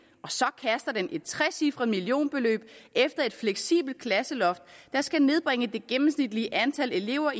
og så kaster den et trecifret millionbeløb efter et fleksibelt klasseloft der skal nedbringe det gennemsnitlige antal elever